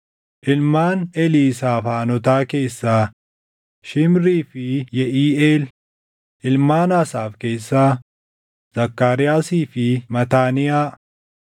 ilmaan Eliisaafaanotaa keessaa, Shimrii fi Yeʼiiʼeel; ilmaan Asaaf keessaa, Zakkaariyaasii fi Mataaniyaa;